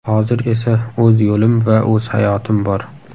Hozir esa o‘z yo‘lim va o‘z hayotim bor.